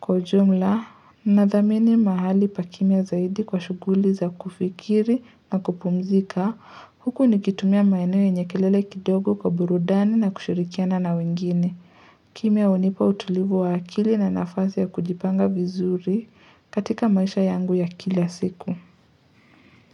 Kwa ujumla, nathamini mahali pa kimya zaidi kwa shughuli za kufikiri na kupumzika. Huku nikitumia maeneo yenye kelele kidogo kwa burudani na kushirikiana na wengine. Kimya unipa utulivu wa akili na nafasi ya kujipanga vizuri katika maisha yangu ya kila siku.